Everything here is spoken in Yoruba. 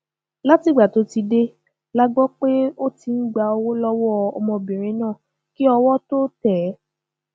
látìgbà tó ti dé la gbọ pé ó ti ń gba owó lọwọ ọmọbìnrin náà kí owó tóó tẹ ẹ